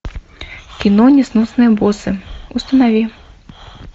кино несносные боссы установи